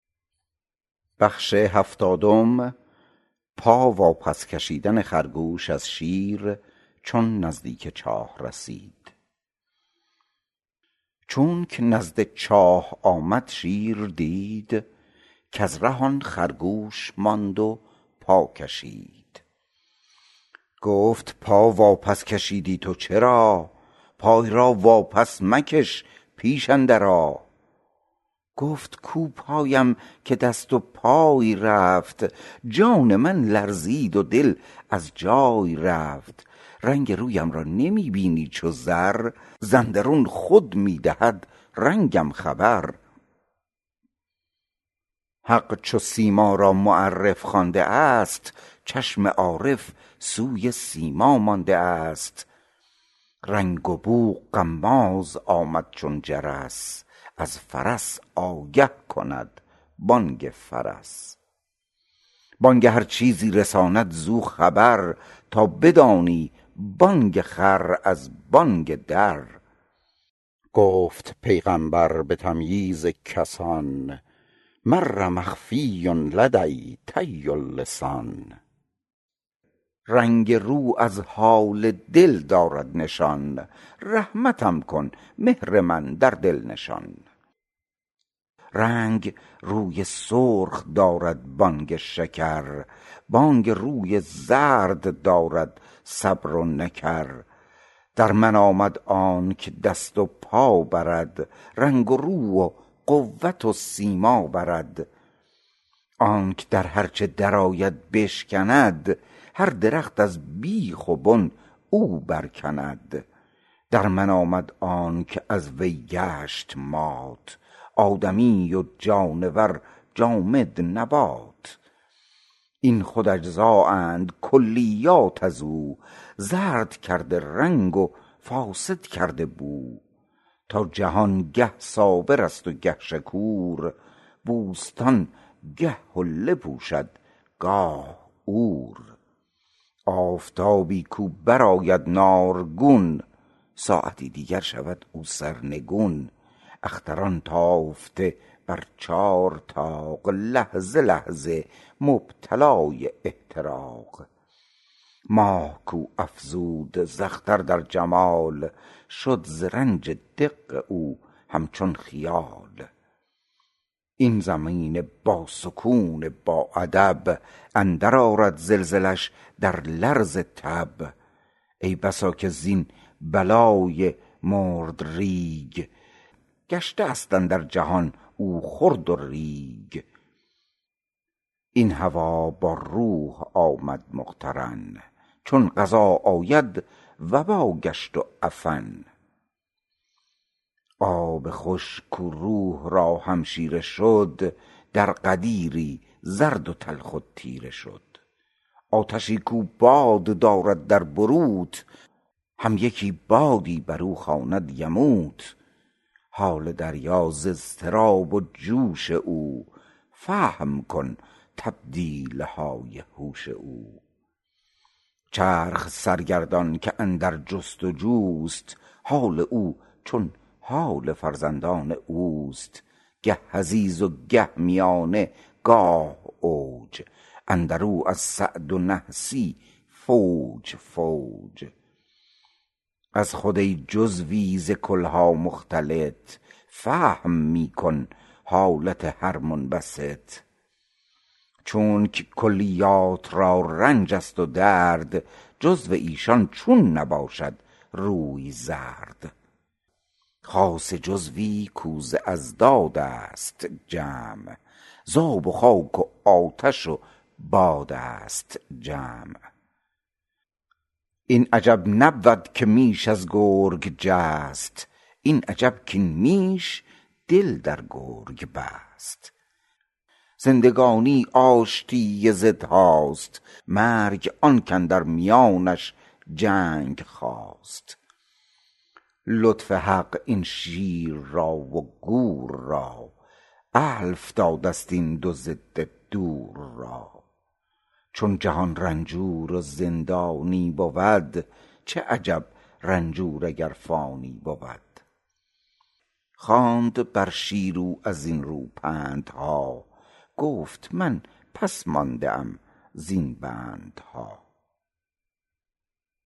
چونک نزد چاه آمد شیر دید کز ره آن خرگوش ماند و پا کشید گفت پا واپس کشیدی تو چرا پای را واپس مکش پیش اندر آ گفت کو پایم که دست و پای رفت جان من لرزید و دل از جای رفت رنگ رویم را نمی بینی چو زر ز اندرون خود می دهد رنگم خبر حق چو سیما را معرف خوانده ست چشم عارف سوی سیما مانده ست رنگ و بو غماز آمد چون جرس از فرس آگه کند بانگ فرس بانگ هر چیزی رساند زو خبر تا بدانی بانگ خر از بانگ در گفت پیغامبر به تمییز کسان مرء مخفی لدی طی اللسان رنگ رو از حال دل دارد نشان رحمتم کن مهر من در دل نشان رنگ روی سرخ دارد بانگ شکر بانگ روی زرد دارد صبر و نکر در من آمد آنک دست و پا برد رنگ رو و قوت و سیما برد آنک در هر چه در آید بشکند هر درخت از بیخ و بن او بر کند در من آمد آنک از وی گشت مات آدمی و جانور جامد نبات این خود اجزا اند کلیات ازو زرد کرده رنگ و فاسد کرده بو تا جهان گه صابرست و گه شکور بوستان گه حله پوشد گاه عور آفتابی کو بر آید نارگون ساعتی دیگر شود او سرنگون اختران تافته بر چار طاق لحظه لحظه مبتلای احتراق ماه کو افزود ز اختر در جمال شد ز رنج دق او همچون خیال این زمین با سکون با ادب اندر آرد زلزله ش در لرز تب ای بسا که زین بلای مردریگ گشته است اندر جهان او خرد و ریگ این هوا با روح آمد مقترن چون قضا آید وبا گشت و عفن آب خوش کو روح را همشیره شد در غدیری زرد و تلخ و تیره شد آتشی کو باد دارد در بروت هم یکی بادی برو خواند یموت حال دریا ز اضطراب و جوش او فهم کن تبدیلهای هوش او چرخ سرگردان که اندر جست و جوست حال او چون حال فرزندان اوست گه حضیض و گه میانه گاه اوج اندرو از سعد و نحسی فوج فوج از خود ای جزوی ز کلها مختلط فهم می کن حالت هر منبسط چونک کلیات را رنجست و درد جزو ایشان چون نباشد روی زرد خاصه جزوی کو ز اضدادست جمع ز آب و خاک و آتش و بادست جمع این عجب نبود که میش از گرگ جست این عجب کین میش دل در گرگ بست زندگانی آشتی ضدهاست مرگ آنک اندر میانش جنگ خاست لطف حق این شیر را و گور را الف دادست این دو ضد دور را چون جهان رنجور و زندانی بود چه عجب رنجور اگر فانی بود خواند بر شیر او ازین رو پندها گفت من پس مانده ام زین بندها